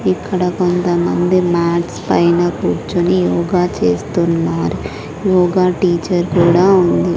ఇక్కడ కొంతమంది మ్యాట్స్ పైన కూర్చొని యోగా చేస్తున్నారు యోగా టీచర్ కూడా ఉంది.